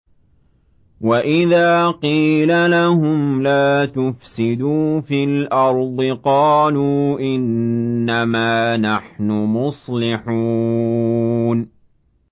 وَإِذَا قِيلَ لَهُمْ لَا تُفْسِدُوا فِي الْأَرْضِ قَالُوا إِنَّمَا نَحْنُ مُصْلِحُونَ